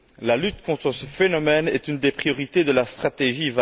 La lutte contre ce phénomène est une des priorités de la stratégie